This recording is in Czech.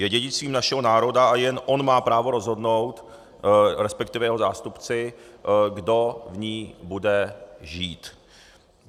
Je dědictvím našeho národa a jen on má právo rozhodnout, respektive jeho zástupci, kdo v ní bude žít.